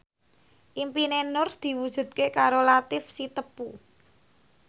impine Nur diwujudke karo Latief Sitepu